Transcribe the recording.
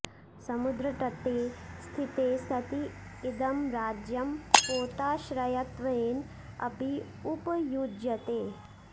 समुद्रतटे स्थिते सति इदं राज्यं पोताश्रयत्वेन अपि उपयुज्यते